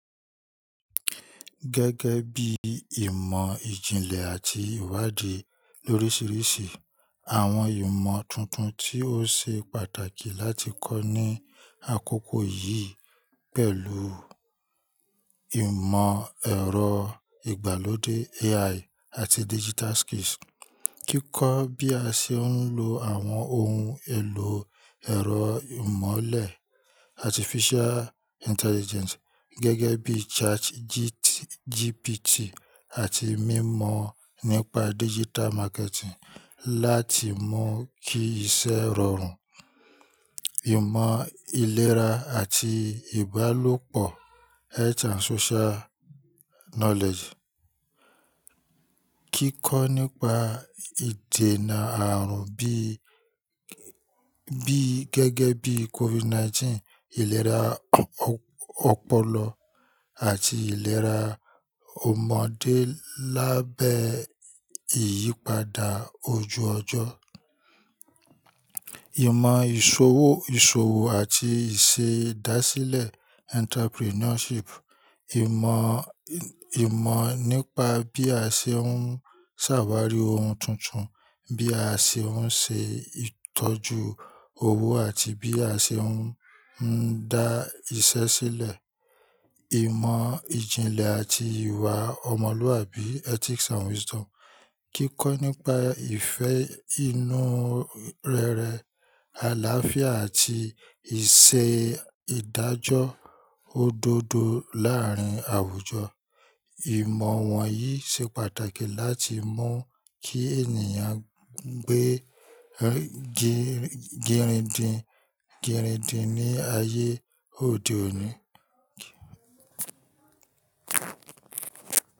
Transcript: Gẹ́gẹ́ bí ìmọ̀ ìjìnlẹ̀ àti ìwádìí lórísìíríṣìí, àwọn ìmọ̀ tuntun tí ó ṣe pàtàkì láti kọ́ ní àkókò yìí pẹ̀lú ìmọ̀ ẹ̀rọ ìgbàlódé AI àti digital skills. Kíkọ́ bí a ṣe ń lo àwọn ohun èlò ẹ̀rọ ìmọ̀le Artificial Intelligence gẹ́gẹ́ bí ChatGPT àti mímọ̀ nípa digital marketing láti mú kí iṣẹ́ rọrùn. Ìmọ̀ ìlera àti ìbálòpọ̀ Health and Social Knowledge. Kíkọ́ nípa ìdènà àrùn bí, bí gẹ́gẹ́ bí COVID-19, ìlera ọpọlọ àti ìlera ọmọdé lábẹ́ ìyípadà ojú ọjọ́. Ìmọ̀ ìṣòwò, ìṣòwò àti ìṣe ìdásílẹ̀ Entrepreneurship. Ìmọ̀, ìmọ̀ nípa bí a ṣe ń ṣàwárí ohun tuntun, bí a ṣe ń ṣe ìtọ́jú owó àti bí a ṣe ń dá iṣẹ́ sílẹ̀. Ìmọ̀ ìjìnlẹ̀ àti ìwà ọmọlúwàbí Ethics and Wisdom. Kíkọ́ nípa ìfẹ́ inú rere, àlàáfíà àti ìṣe ìdájọ́ òdodo láàárín àwùjọ. Ìmọ̀ wọ̀nyí ṣe pàtàkì láti mú kí ènìyàn gbé girindi, girindi ní ayé òde òní.